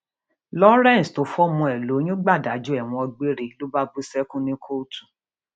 lawrence tó fọmọ ẹ lóyún gbàdájọ ẹwọn gbére ló bá bú sẹkún ní kóòtù